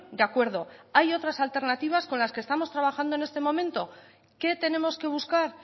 de acuerdo hay otras alternativas con las que estamos trabajando en este momento qué tenemos que buscar